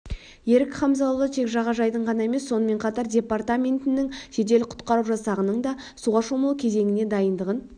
ерік хамзаұлы тек жағажайдың ғана емес сонымен қатар департаментінің жедел-құтқару жасағының да суға шомылу кезеңіне дайындығын